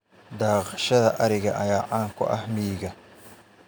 Dhaqashada ariga ayaa caan ku ah miyiga.